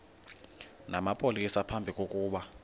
namapolisa phambi kokuba